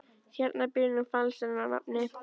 Hérna býr nú falsarinn að nafni